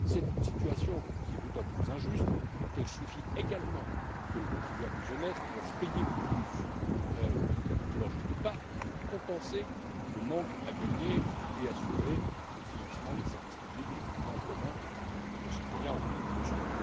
C'est une situation qui est d'autant plus injuste qu'elle signifie également que les contribuables honnêtes doivent payer plus que leur juste part pour compenser le manque à gagner et assurer le financement des services publics et des biens communs dont nos concitoyens ont besoin.